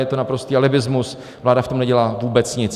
Je to naprostý alibismus, vláda v tom nedělá vůbec nic.